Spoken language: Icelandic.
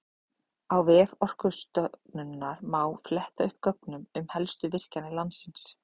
Á vef Orkustofnunar má fletta upp gögnum um helstu virkjanir landsins.